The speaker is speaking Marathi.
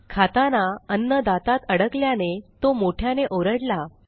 खाताना अन्न दातात अडकल्याने तो मोठ्याने ओरडला